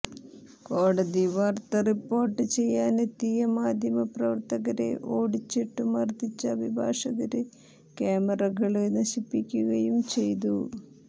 കോടതി വാര്ത്ത റിപ്പോര്ട്ട് ചെയ്യാനെത്തിയ മാധ്യമ പ്രവര്ത്തകരെ ഓടിച്ചിട്ടു മര്ദിച്ച അഭിഭാഷകര് ക്യാമറകള് നശിപ്പിക്കുകയും ചെയ്തു